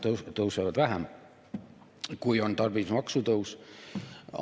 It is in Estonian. Reeglina tõusevad vähem, kui on tarbimismaksu tõus.